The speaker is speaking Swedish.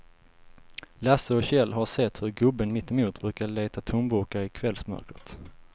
Lasse och Kjell har sett hur gubben mittemot brukar leta tomburkar i kvällsmörkret.